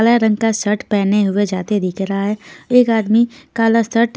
काला रंग का शर्ट पहने हुए जाते दिख रहा है एक आदमी काला शर्ट --